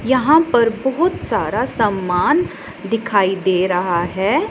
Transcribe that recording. यहां पर बहोत सारा समान दिखाई दे रहा है।